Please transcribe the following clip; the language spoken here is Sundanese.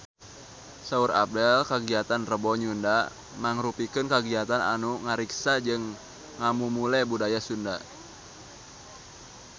Saur Abdel kagiatan Rebo Nyunda mangrupikeun kagiatan anu ngariksa jeung ngamumule budaya Sunda